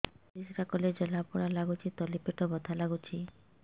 ପରିଶ୍ରା କଲେ ଜଳା ପୋଡା ଲାଗୁଚି ତଳି ପେଟ ବଥା ଲାଗୁଛି